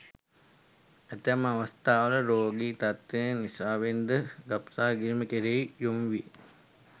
ඇතැම් අවස්ථාවල රෝගී තත්ත්වයන් නිසාවෙන් ද ගබ්සා කිරීම් කෙරෙහි යොමු වේ.